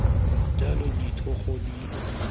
jalo ditlhogo di tshwanetse go